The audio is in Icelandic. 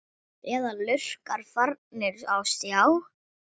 Eða lurkar farnir á stjá?